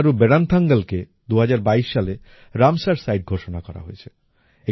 তামিলনাড়ুর বেড়ান্থাঙ্গলকে ২০২২ সালে রামসার সিতে ঘোষণা করা হয়েছে